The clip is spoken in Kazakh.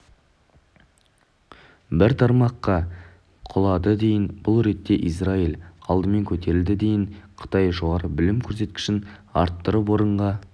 бір тармаққа құлады дейін бұл ретте израиль адым көтерілді дейін қытай жоғары білім көрсеткішін арттырып орынға